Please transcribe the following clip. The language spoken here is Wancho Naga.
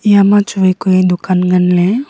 iyama chu vai ku ee dukan nganley.